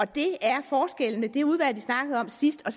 det er forskellen mellem det udvalg vi snakkede om sidst og